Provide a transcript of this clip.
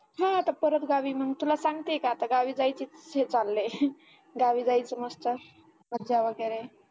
हा आता परत गावी मग तुला सांगते काय आता गावी जायचे हे चाललंय गावी जायचं मस्त मज्जा वगैरे